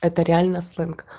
это реально сленг